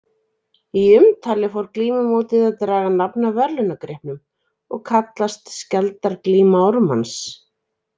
Í umtali fór glímumótið að draga nafn af verðlaunagripnum og kallast Skjaldarglíma Ármanns.